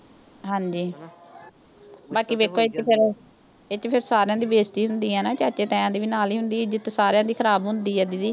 ਹਾਂਜੀ ਬਾਕੀ ਵੇਖੋ ਇਕ ਫਿਰ ਇਸ ਚ ਫਿਰ ਸਾਰਿਆਂ ਦੀ ਬੇਇਜ਼ਤੀ ਹੁੰਦੀ ਆ ਨਾ, ਚਾਚੇ-ਤਾਇਆਂ ਦੀ ਵੀ ਨਾਲ ਹੀ ਹੁੰਦੀ ਆ। ਇੱਜ਼ਤ ਸਾਰਿਆਂ ਦੀ ਖਰਾਬ ਹੁੰਦੀ ਆ।